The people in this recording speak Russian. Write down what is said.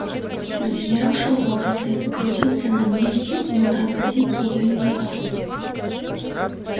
взъерошил волосы покрутился на месте но тормозить её не стал